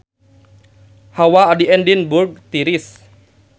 Hawa di Edinburg tiris